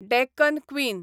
Deccan queen